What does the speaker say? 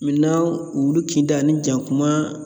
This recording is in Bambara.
wulu kinda ani jakuma